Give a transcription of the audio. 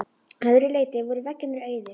Að öðru leyti voru veggirnir auðir.